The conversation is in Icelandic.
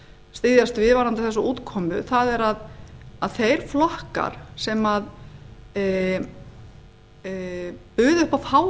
styðjast við varðandi þessa útkomu það er að þeir flokkar sem buðu upp á